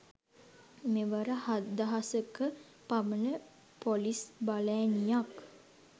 මෙවර හත්දහසක පමණ පොලිස් බලඇණියක්